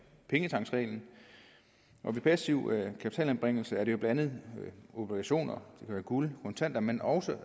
pengetanksreglen passiv kapitalanbringelse er jo blandt andet obligationer guld kontanter men også